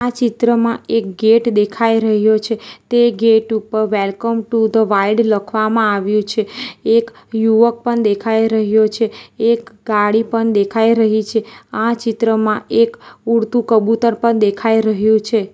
આ ચિત્રમાં એક ગેટ દેખાઈ રહ્યો છે તે ગેટ ઉપર વેલકમ ટુ ધ વાઈડ લખવામાં આવ્યું છે એક યુવક પણ દેખાઈ રહ્યો છે એક ગાડી પણ દેખાઈ રહી છે આ ચિત્રમાં એક ઉડતું કબુતર પણ દેખાઈ રહ્યુ છે.